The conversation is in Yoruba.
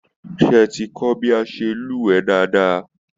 Seé ẹ ti kọ bí a ṣe lúwẹ̀ẹ́ dáadáa?